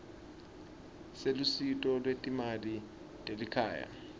selusito lwetimali telikhaya